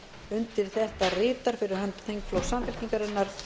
undir þetta ritar fyrir hönd samfylkingarinnar